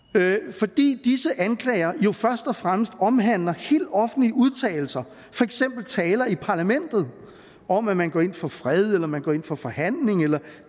fordi disse anklager jo først og fremmest omhandler helt offentlige udtalelser for eksempel taler i parlamentet om at man går ind for fred eller at man går ind for forhandling